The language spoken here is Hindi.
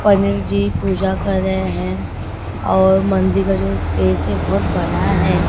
पनीर जी पूजा कर रहे है और मंदिर का जो स्पेस है बहोत बड़ा है।